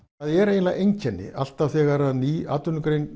það er eiginlega enginn alltaf þegar ný atvinnugrein